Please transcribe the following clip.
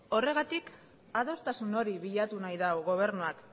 horregatik adostasun hori bilatu nahi du gobernuak